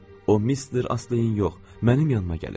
O Mister Astleyin yox, mənim yanımaq gəlib.